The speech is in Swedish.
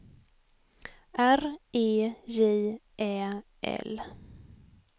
R E J Ä L